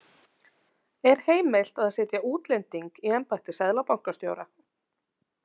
„Er heimilt að setja útlending í embætti seðlabankastjóra?“